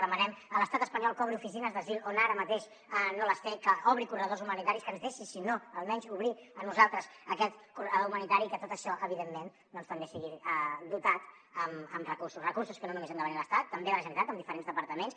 demanem a l’estat espanyol que obri oficines d’asil on ara mateix no les té que obri corredors humanitaris que ens deixin si no almenys obrir a nosaltres aquest corredor humanitari i que tot això evidentment també sigui dotat amb recursos recursos que no només han de venir de l’estat també de la generalitat de diferents departaments